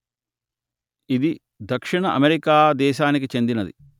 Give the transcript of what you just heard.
ఇది దక్షిణ అమెరికా దేశానికి చెందినది